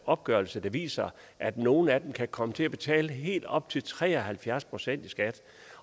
opgørelser der viser at nogle af dem kan komme til at betale helt op til tre og halvfjerds procent i skat